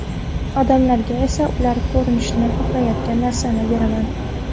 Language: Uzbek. Odamlarga esa ular ko‘rishni xohlayotgan narsani beraman.